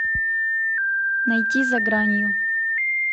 найти за гранью